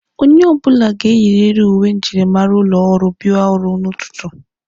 Onye ọbụla ga-eyiriiri uwe njirimara ụlọ ọrụ abịa ọrụ n'ụtụtụ.